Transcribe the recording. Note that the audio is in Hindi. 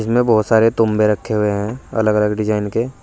इनमें बहोत सारे तुम्बे रखें हुए हैं अलग अलग डिजाइन के।